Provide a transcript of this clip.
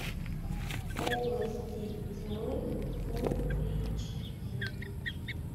области тьмы фул эйч ди